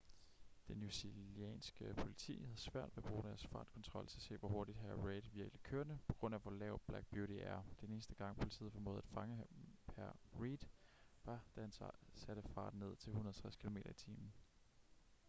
det newzealandske politi havde svært ved at bruge deres fartkontrol til at se hvor hurtigt hr. reid virkelig kørte på grund af hvor lav black beauty er. den eneste gang politiet formåede at fange hr. reid var da han satte farten ned til 160 km/t